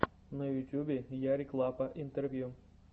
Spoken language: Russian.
на ютьюбе ярик лапа интервью